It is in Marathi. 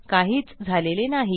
काहीच झालेले नाही